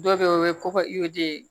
Dɔ bɛ ye o ye kɔkɔ